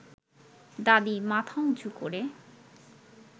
দাদি মাথা উঁচু করে